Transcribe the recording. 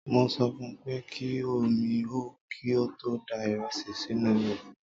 Mo sọ fun pé kí omi hó kí ó tó da ìrẹsì sínú rẹ̀.